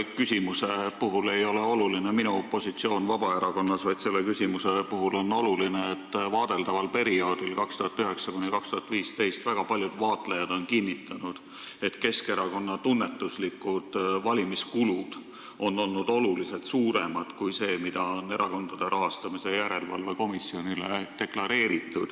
Selle küsimuse puhul ei ole oluline minu positsioon Vabaerakonnas, vaid selle küsimuse puhul on oluline, et väga paljud vaatlejad on kinnitanud, et vaadeldaval perioodil, aastatel 2009–2015, olid Keskerakonna tunnetuslikud valimiskulud oluliselt suuremad kui see summa, mis Erakondade Rahastamise Järelevalve Komisjonile deklareeriti.